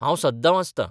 हांव सद्दां वाचतां.